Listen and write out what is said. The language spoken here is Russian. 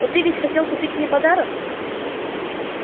но ты ведь хотел купить мне подарок